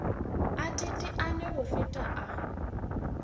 a teteane go feta a